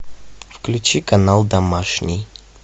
включи канал домашний